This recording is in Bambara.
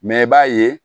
Mɛ i b'a ye